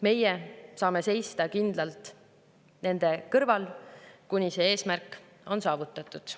Meie saame seista kindlalt nende kõrval, kuni see eesmärk on saavutatud.